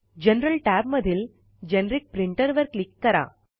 general tab मधील generic printer वर click करा